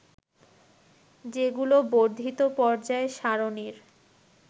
যেগুলো বর্ধিত পর্যায় সারণীর